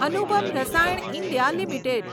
Anupam Rasayan India limited